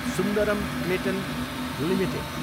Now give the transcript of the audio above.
Sundaram Clayton Ltd